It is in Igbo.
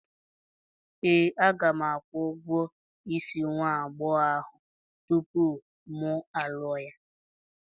Ee, aga m akwụ ụgwọ isi nwa agbọghọ ahụ tupu mụ alụọ ya.